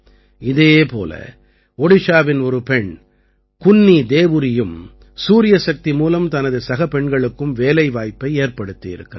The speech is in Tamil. இதே போல ஒடிஷாவின் ஒரு பெண் குன்னீ தேவுரீயும் சூரியசக்தி மூலம் தனது சகப் பெண்களுக்கும் வேலைவாய்ப்பை ஏற்படுத்தியிருக்கிறார்